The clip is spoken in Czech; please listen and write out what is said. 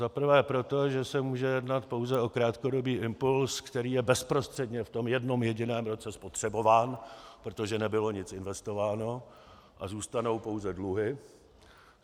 Za prvé proto, že se může jednat pouze o krátkodobý impuls, který je bezprostředně v tom jednom jediném roce spotřebován, protože nebylo nic investováno, a zůstanou pouze dluhy.